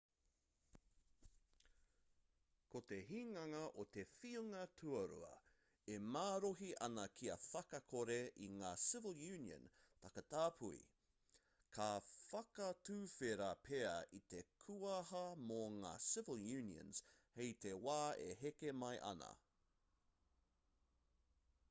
ko te hinganga o te whiunga tuarua e marohi ana kia whakakore i ngā civil union takatāpui ka whakatuwhera pea i te kuaha mō ngā civil unions hei te wā e heke mai ana